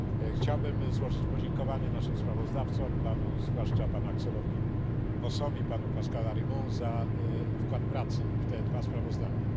Chciałbym złożyć podziękowania naszym sprawozdawcom, zwłaszcza panu Axelowi Vossowi, panu Pascalowi Arimont, za wkład pracy w te dwa sprawozdania.